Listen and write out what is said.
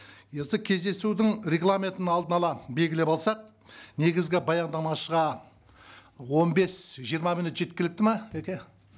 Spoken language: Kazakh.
енді кездесудің регламентін алдын ала белгілеп алсақ негізгі баяндамашыға он бес жиырма минут жеткілікті ме тәке